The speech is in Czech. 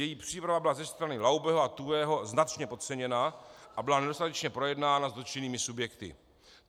Její příprava byla ze strany Laubeho a Tuhého značně podceněna a byla nedostatečně projednána s dotčenými subjekty.